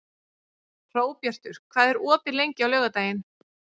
Hróbjartur, hvað er opið lengi á laugardaginn?